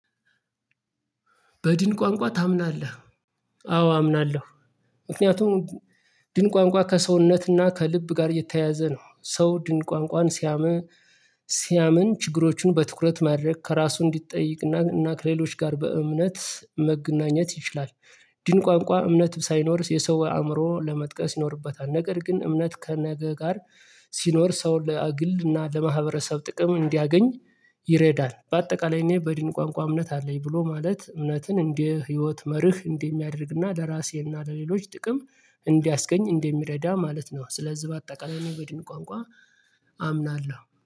በድን ቋንቋ ታምናለህ? አዎ አምናለሁ። ምክንያቱም ድን ቋንቋ ከሰውነትና ከልብ ጋር የተያያዘ ነው ሰው ድን ቋንቋን ሲያምን ሲያምን ችግሮችን በትኩረት ማድረግ ከራሱ እንዲጠይቅና እና ከሌሎች ጋር በእምነት መገናኘት ይችላል። ድን ቋንቋ እምነት ሳይኖርስ የሰው አእምሮ ለመጥቀስ ይኖርበታል ነገር ግን እምነት ከነገ ጋር ሲኖር ሰውን ለአግልና ለማህበረሰብ ጥቅም እንዲያገኝ ይረዳል። በአጠቃላይ እኔ በድን ቋንቋ እምነት አለኝ ብሎ ማለት እውነትን እንደ ህይወት መርህ እንደሚያደርግና ለራሴና ለሌሎች ጥቅም እንዲያስገኝ እንደሚረዳ ማለት ነው። ስለዚህ በአጠቃላይ እኔ በደን ቋንቋ አምናለሁ